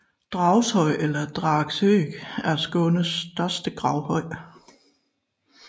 Dagshøj eller Dagshög er Skånes største gravhøj